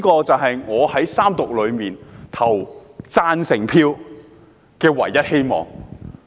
"這便是我在三讀投贊成票的唯一希望。